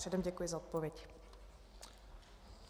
Předem děkuji za odpověď.